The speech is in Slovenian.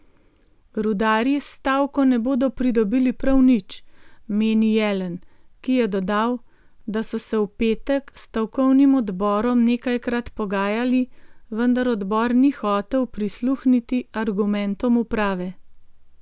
Rudarji s stavko ne bodo pridobili prav nič, meni Jelen, ki je dodal, da so se v petek s stavkovnim odborom nekajkrat pogajali, vendar odbor ni hotel prisluhniti argumentom uprave.